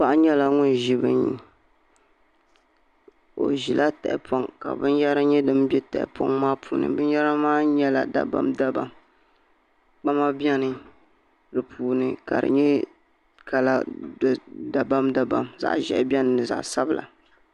Paɣa nyɛla ŋun ʒi bini o ʒila bini ka binyahari nyɛ din bɛ tahapoŋ maa puuni binyahari maa nyɛla dabam dabam kpama bɛ di puuni ka di nyɛla kala dabam dabam zaɣ ʒiɛhi biɛni ni zaɣ sabila